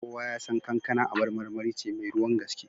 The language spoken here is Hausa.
Kowa ya san kankan abar marmari ce mai ruwan gaske.